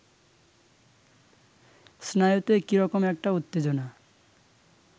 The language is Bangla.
স্নায়ুতে কিরকম একটা উত্তেজনা